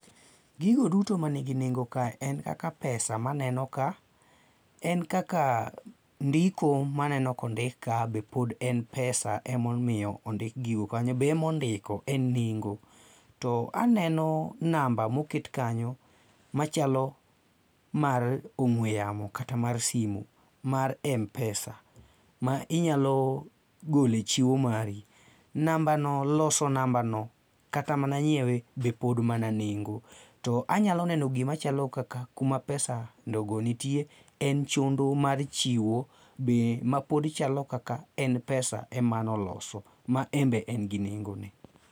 Gigo duto man gi nengo kae en kaka pesa ma aneno ka, en kaka ndiko ma aneno ka ondik kae be pod en pesa ema omiyo ondik gigo kanyo be ema ondiko en nengo. To aneno namba moket kanyo machalo mar ong'ue yamo kata mar simu mar m-pesa, ma inyalo goloe chiwo mari. Nambano, loso nambano kata mana nyiewe be pod mana nengo. To anyalo neno gima chalo kaka kuma pesa logo nitie en chondo mar chiwo be mapod chalo kaka en pesa emano loso. Ma be pod en gi nengo.